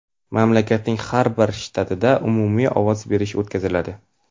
mamlakatning har bir shtatida umumiy ovoz berish o‘tkaziladi.